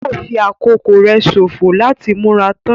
Yóò fi àkókò rẹ sòfò láti múra tán.